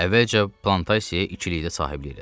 Əvvəlcə plantasiyaya ikilikdə sahiblik elədik.